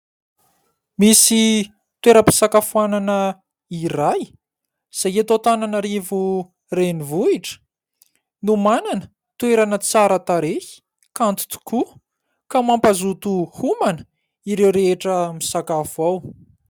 Misy toeram-pisakafoanana iray izay eto Antananarivo renivohitra no manana toerana tsara tarehy kanto tokoa ka mampahazoto homana ireo rehetra misakafo ao.